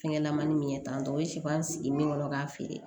Fɛngɛ laman min ye tantɛ o ye sifan sigi min kɔnɔ k'a feere